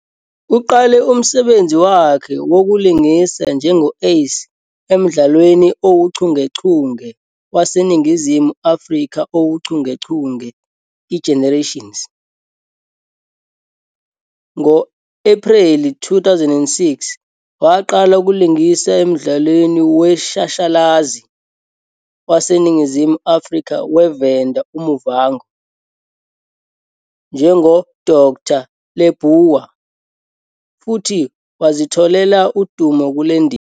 Uqale umsebenzi wakhe wokulingisa njengo-Ace emdlalweni owuchungechunge waseNingizimu Afrika owuchungechunge "iGenerations". Ngo-Ephreli 2006, waqala ukulingisa emdlalweni weshashalazi "waseNingizimu Afrika we-venda uMuvhango" njengoDkt Leabua futhi wazitholela udumo kule ndima.